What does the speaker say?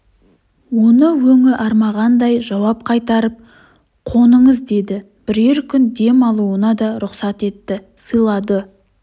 оны өңі армағандай жауап қайтарып қоныңыз деді бірер күн дем алуына да рұқсат етті сыйлады